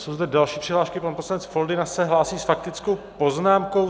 Jsou zde další přihlášky, pan poslanec Foldyna se hlásí s faktickou poznámkou.